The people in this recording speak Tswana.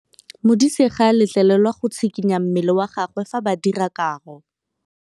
Modise ga a letlelelwa go tshikinya mmele wa gagwe fa ba dira karô.